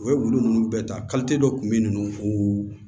U ye wulu ninnu bɛɛ ta dɔ kun bɛ yen nɔ ko